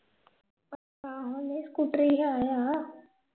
ਆਹੋ ਨਹੀਂ ਸਕੂਟਰੀ ਹੈ ਆ